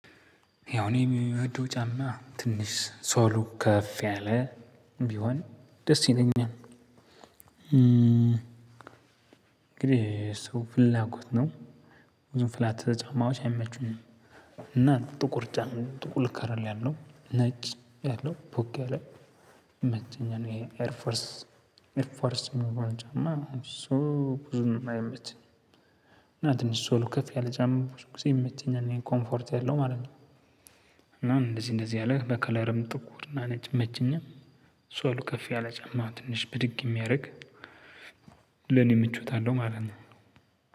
ያው እኔ የሚወደው ጫማ ትንሽ ሶሉ ከፍ ያለ ቢሆን ደስ ይለኛል እንግዲህ ሰው ፍላጎት ነው። ብዙ ፍላት ጫማዋቾች አይመቹም። እና ጥቁር ጫን ጥቁር ከለር ያለው ነጭ ያለው ፖክ ከለር ይመኛል። ይሄ ኤር ፎርስ ኤር ፎርስ መሆን ጫማ እሱ ብዙ አይመቸኝም። እና ትንሽ ሶሉ ከፍ ያለ ጫማ ብዙ ጊዜ ይመቸኛል ኮፎርት ያለው ማለት ነው። እና እንደዚህ እንደዚህ ያለ በከለርም ጥቁርና ነጭ ይመኛል። ሶሉ ከፍ ያለ ጫማ ትንሽ ብድግ እሚያደርግ። ለኔ ምቾት አለው ማለት ነው።